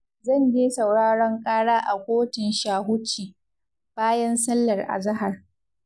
zan je sauraron ƙara a kotun Shahuci, bayan sallar azahar.